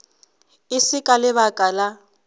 e se ka lebaka la